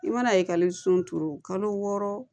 I mana ekɔliso kalo wɔɔrɔ